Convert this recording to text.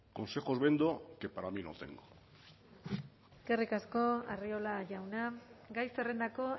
consejos vendo que para mí no tengo eskerrik asko arriola jauna gai zerrendako